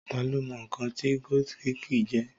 Tá lo mọ̀ nǹkan tí gótìkì jẹ́?